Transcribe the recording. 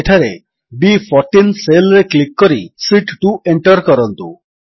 ଏଠାରେ ବି14 ସେଲ୍ ରେ କ୍ଲିକ୍ କରି ଶୀତ୍ 2 ଏଣ୍ଟର୍ କରନ୍ତୁ